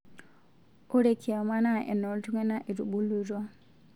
Ore kiama naa eno ltung'ana etubulutua